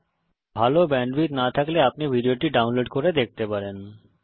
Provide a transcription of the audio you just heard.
যদি ভাল ব্যান্ডউইডথ না থাকে তাহলে আপনি ভিডিওটি ডাউনলোড করে দেখতে পারেন